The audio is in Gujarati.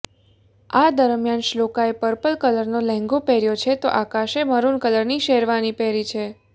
આ દરમિયાન શ્લોકાએ પર્પલ કલરનો લેંઘો પહેર્યો છે તો આકાશએ મરૂન કલરની શેરવાની પહેરી છે